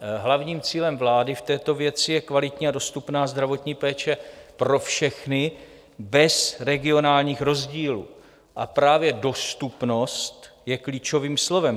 Hlavním cílem vlády v této věci je kvalitní a dostupná zdravotní péče pro všechny bez regionálních rozdílů, a právě dostupnost je klíčovým slovem.